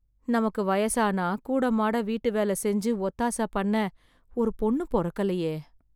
நமக்கு வயசானா, கூடமாட வீட்டுவேல செஞ்சு, ஒத்தாச பண்ண ஒரு பொண்ணு பொறக்கலயே...